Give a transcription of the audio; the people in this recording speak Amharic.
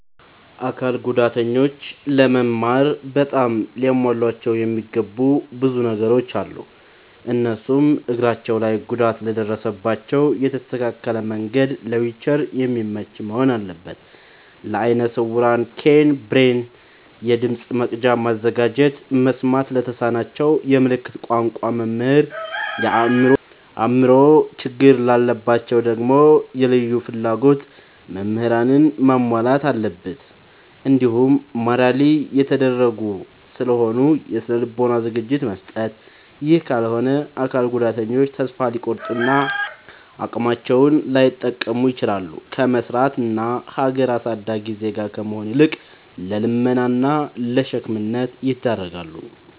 አካል ጉዳተኞች ለመማር በጣም ሊሟሉላቸው የሚገቡ ብዙ ነገሮ አሉ። እነሱም፦ እግራቸው ላይ ጉዳት ለደረሰባቸው የተስተካከለ መንድ ለዊልቸር የሚመች መሆን አለበት። ለአይነ ስውራን ኬይን፣ ብሬል፤ የድምፅ መቅጃ ማዘጋጀት፤ መስማት ለተሳናቸው የምልክት ቋንቋ መምህር፤ የአእምሮ ችግር ላለባቸው ደግሞ የልዩ ፍላጎት ምህራንን ማሟላት አለብትን። እንዲሁም ማራሊ የተጎዱ ስለሆኑ የስነ ልቦና ዝግጅት መስጠት። ይህ ካልሆነ አካል ጉዳተኞች ተሰፋ ሊቆርጡ እና አቅማቸውን ላይጠቀሙ ይችላሉ። ከመስራት እና ሀገር አሳዳጊ ዜጋ ከመሆን ይልቅ ለልመና እና ለሸክምነት ይዳረጋሉ።